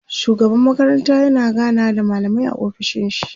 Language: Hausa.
shugaban makaranta yana ganawa da mallamai a ofishin shi